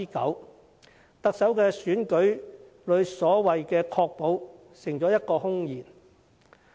因此，特首在選舉政綱中的所謂"確保"成了空言。